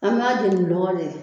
An b'a jeni lɔgɔ de la